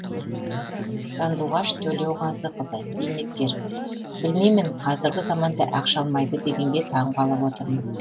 сандуғаш төлеуғазықызы зейнеткер білмеймін қазіргі заманда ақша алмайды дегенге таң қалып отырмын